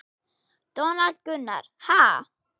Donald Gunnar: Ha?